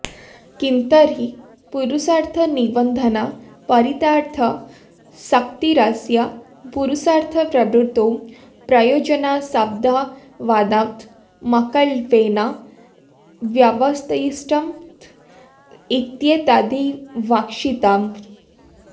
किन्तर्हि पुरुषार्थनिबन्धना चरितार्थ शक्तिरस्य पुरुषार्थप्रवृत्तौ प्रयोजनासद्भावादात्मकल्पेन व्यवतिष्ठत इत्येतद्विवक्षितम्